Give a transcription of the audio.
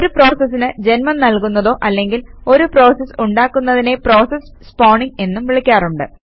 ഒരു പ്രോസസിന് ജന്മം നൽകുന്നതോ അല്ലെങ്കിൽ ഒരു പ്രോസസ് ഉണ്ടാക്കുന്നതിനെ പ്രോസസ് സ്പോണിംഗ് എന്നും വിളിക്കാറുണ്ട്